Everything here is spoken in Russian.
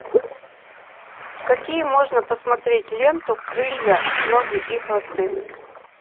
какие можно посмотреть ленту крылья ноги и хвосты